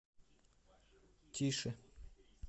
тише